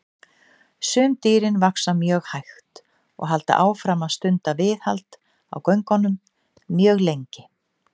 Sum dýrin vaxa mjög hægt og halda áfram að stunda viðhald á göngunum mjög lengi.